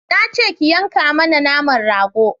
Na ce ki yanka mana naman rago